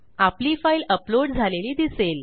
आपली file upload झालेली दिसेल